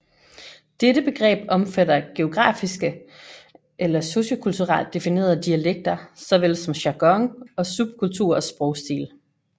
Dette begreb omfatter geografiske eller sociokulturelt definerede dialekter såvel som jargon og subkulturers sprogstil